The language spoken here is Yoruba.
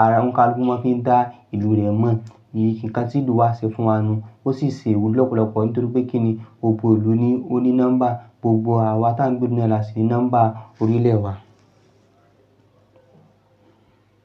araoni kalukú mọ̀ fi dá ìlú rẹ̀ mọ̀. Nǹkan tí ìlú wa ṣe fún wa nu ó sì ṣe iwulo lọ́pọ̀lọpọ̀ nítorí pé kíni gbogbo ìlú ni ó ní nọ́mbà. Gbogbo àwa ta ń gbé ìlú nà ní a sì ní nọ́mbà orílẹ̀ wa.